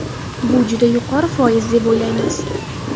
Bu juda yuqori foiz, deb o‘ylaymiz.